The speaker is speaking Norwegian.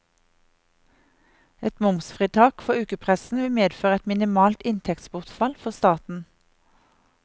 Et momsfritak for ukepressen vil medføre et minimalt inntektsbortfall for staten.